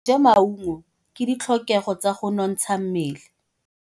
Tse maungo ke ditlhokegô tsa go nontsha mmele.